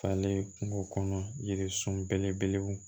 Falen kungo kɔnɔ yiri sun belebelew